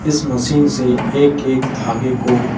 इस मशीन से एक-एक धागे को --